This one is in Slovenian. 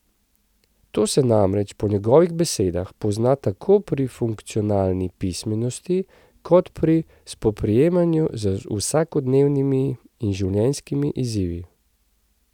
To se namreč po njegovih besedah pozna tako pri funkcionalni pismenosti kot pri spoprijemanju z vsakodnevnimi in življenjskimi izzivi.